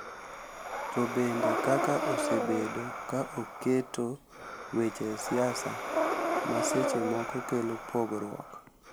To bende kaka osebedo ka oketo weche siasa, ma seche moko kelo pogruok,